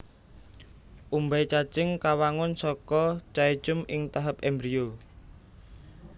Umbai cacing kawangun saka caecum ing tahap embrio